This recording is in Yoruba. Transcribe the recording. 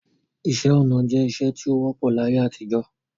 Ìṣẹ̀ onà jẹ̀ ìṣẹ̀ tí o wọ̀pọ̀ l'ayé àtijọ